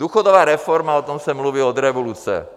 Důchodová reforma, o tom se mluví od revoluce.